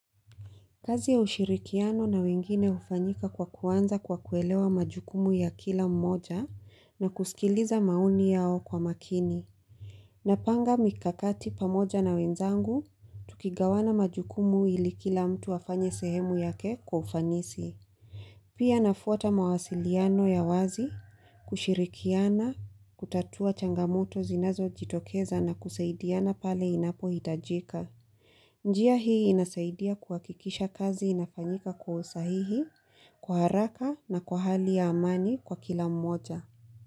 Kazi ya ushirikiano na wengine hufanyika kwa kuanza kwa kuelewa majukumu ya kila mmoja na kusikiliza maoni yao kwa makini. Napanga mikakati pamoja na wenzangu, tukigawana majukumu ili kila mtu afanye sehemu yake kwa ufanisi. Pia nafuata mawasiliano ya wazi, kushirikiana, kutatua changamoto zinazo jitokeza na kusaidiana pale inapo hitajika. Njia hii inasaidia kuhakikisha kazi inafanyika kwa usahihi, kwa haraka na kwa hali ya amani kwa kila mmoja.